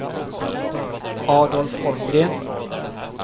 Adolf Holmgren